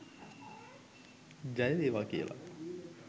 ජය වේවා කියලා.